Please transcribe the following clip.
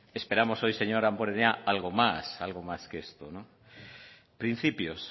esperamos hoy señor damborenea algo más algo más que esto principios